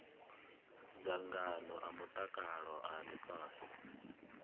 dzangano a mutakalo a ifhasi